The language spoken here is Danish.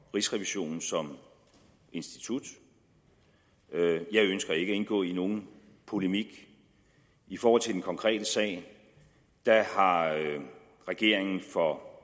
rigsrevisionen som institut jeg ønsker ikke at indgå i nogen polemik i forhold til den konkrete sag har regeringen for